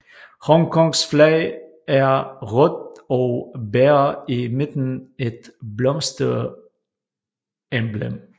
Hongkongs flag er rødt og bærer i midten et blomsteremblem